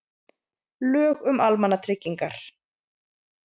Lög um almannatryggingar.